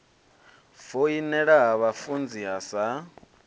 foinela ha vhafunzi ha sa